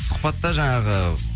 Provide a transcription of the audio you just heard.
сұхбатта жаңағы